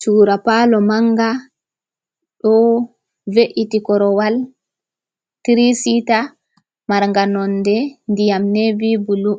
Chura palo manga do ve’iti korowal tirisita marnga nonde ndiyam nevy bulu